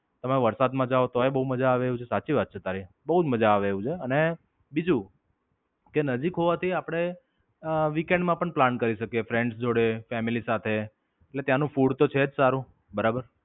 તમે વરસાદ માં જાઓ તોયે માજા આવે એવું છે સાચી વાત છે તારી. બોવ જ મજા આવે એવું છે. અને બીજું કે, નજીક હોવાથી આપડે અમ the weekend માં પણ પ્લાન કરી શકીયે friends જોડે, ફેમિલી સાથે. અને ત્યાંનું food છે જ સારું બરાબર.